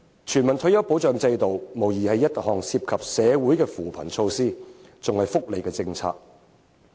全民退休保障制度無疑是一項涉及扶貧的措施，更是福利政策。